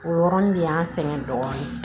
O yɔrɔnin de y'an sɛgɛn dɔɔnin